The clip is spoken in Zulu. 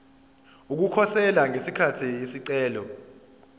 ukukhosela ngesikhathi isicelo